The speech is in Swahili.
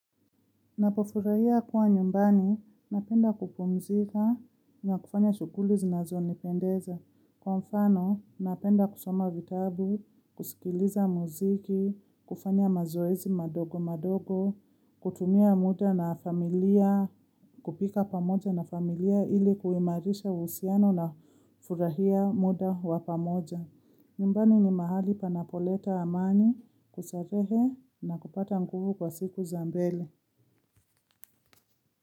Napofurahia kuwa nyumbani, napenda kupumzika na kufanya shughuli zinazoni pendeza. Kwa mfano, napenda kusoma vitabu, kusikiliza muziki, kufanya mazoezi madogo madogo, kutumia muda na familia, kupika pamoja na familia ili kuimarisha uhusiano na furahia muda wa pamoja. Nyumbani ni mahali panapoleta amani, kustarehe na kupata nguvu kwa siku za mbele.